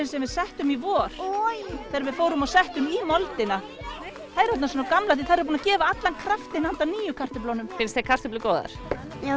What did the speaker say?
sem við settum í vor þegar við fórum og settum í moldina þær eru orðnar svona gamlar því þær eru búnar að gefa allan kraftinn handa nýju kartöflunum finnst þér kartöflur góðar já